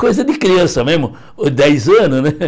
Coisa de criança mesmo, dez anos, né?